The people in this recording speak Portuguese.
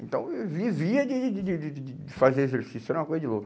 Então eu vivia de de de de de fazer exercício, era uma coisa de louco.